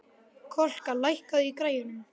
Kolka, lækkaðu í græjunum.